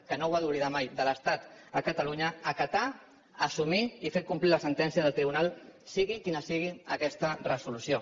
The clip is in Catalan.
que no ho ha d’oblidar mai de l’estat a catalunya acatar assumir i fer complir la sentència del tribunal sigui quina sigui aquesta resolució